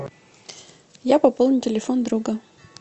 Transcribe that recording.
я пополню телефон друга